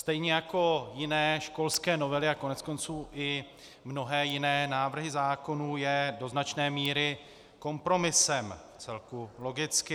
Stejně jako jiné školské novely a koneckonců i mnohé jiné návrhy zákonů je do značné míry kompromisem, vcelku logicky.